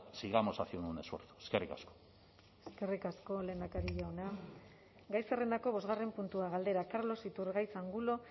sigamos haciendo un esfuerzo eskerrik asko eskerrik asko lehendakari jauna gai zerrendako bosgarren puntua galdera carlos iturgaiz angulo